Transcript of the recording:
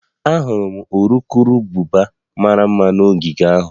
Ahụrụ m urukurubụba mara mma n'ogige ahụ